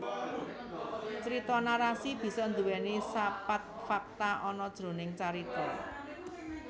Crita narasi bisa nduweni sapat fakta ana jroning carita